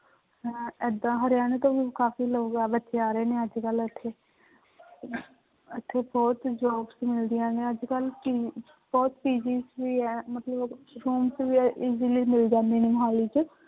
ਏਦਾਂ ਹਰਿਆਣਾ ਤੋਂ ਵੀ ਕਾਫ਼ੀ ਲੋਕ ਬੱਚੇ ਆ ਰਹੇ ਨੇ ਅੱਜ ਕੱਲ੍ਹ ਇੱਥੇ ਇੱਥੇ ਬਹੁਤ jobs ਮਿਲਦੀਆਂ ਨੇ ਅੱਜ ਕੱਲ੍ਹ ਕਿ ਬਹੁਤ PG ਵੀ ਹੈ ਮਤਲਬ rooms ਵੀ easily ਮਿਲ ਜਾਂਦੇ ਨੇ ਮੁਹਾਲੀ ਚ।